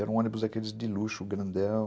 Era um ônibus daqueles de luxo, grandão.